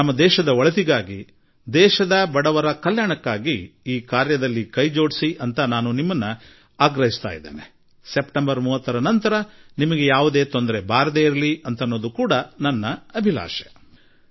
ನಾನು ದೇಶದ ಒಳಿತಿಗಾಗಿ ದೇಶದ ಬಡವರ ಕಲ್ಯಾಣಕ್ಕಾಗಿ ನೀವು ಈ ಕೆಲಸ ಮಾಡಲು ಮುಂದೆ ಬನ್ನಿ ಎಂದು ಆಗ್ರಹಪಡಿಸುವೆ ಮತ್ತು ಸೆಪ್ಟೆಂಬರ್ 30ರ ನಂತರ ನಿಮಗೆ ಯಾವುದೇ ತೊಂದರೆಯಾಗುವುದು ನನಗೆ ಇಷ್ಟವಿಲ್ಲ